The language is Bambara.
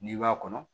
N'i b'a kɔnɔ